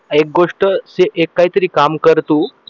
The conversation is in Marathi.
एक गोष्ट एक काहीतरी काम कर तू